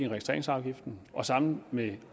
registreringsafgiften og sammen med